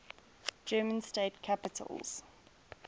german state capitals